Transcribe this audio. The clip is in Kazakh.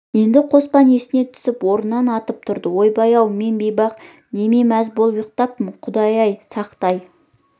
енді қоспан есіне түсіп орнынан атып тұрды ойбай-ау мен бейбақ неме мәз болып ұйықтаппын құдай-ай сақтай